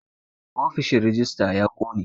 Ofishin rejista ya ƙone